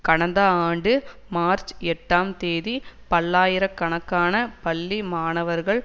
கடந்த ஆண்டு மார்ச் எட்டாம் தேதி பல்லாயிர கணக்கான பள்ளி மாணவர்கள்